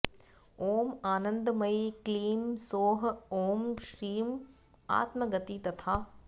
ॐ आनन्दमयी क्लीं सौः ॐ श्रीं आत्मगति तथा